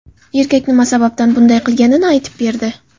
Erkak nima sababdan bunday qilganini aytib berdi.